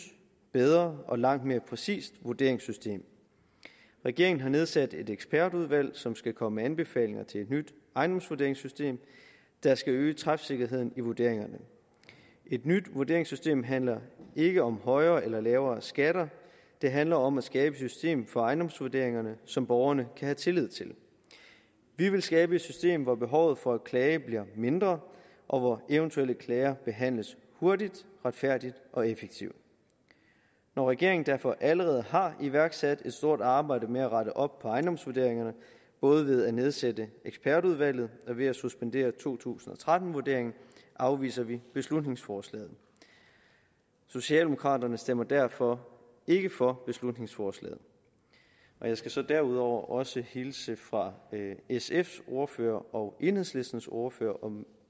bedre og langt mere præcist vurderingssystem regeringen har nedsat et ekspertudvalg som skal komme med anbefalinger til et nyt ejendomsvurderingssystem der skal øge træfsikkerheden i vurderingerne et nyt vurderingssystem handler ikke om højere eller lavere skatter det handler om at skabe et system for ejendomsvurderingerne som borgerne kan have tillid til vi vil skabe et system hvor behovet for at klage bliver mindre og hvor eventuelle klager behandles hurtigt retfærdigt og effektivt når regeringen derfor allerede har iværksat et stort arbejde med at rette op på ejendomsvurderingerne både ved at nedsætte ekspertudvalget og ved at suspendere to tusind og tretten vurderingen afviser vi beslutningsforslaget socialdemokraterne stemmer derfor ikke for beslutningsforslaget jeg skal så derudover også hilse fra sfs ordfører og enhedslistens ordfører